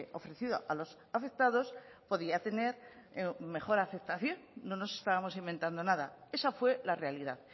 ofrecido a los afectados podía tener mejor aceptación no nos estábamos inventando nada esa fue la realidad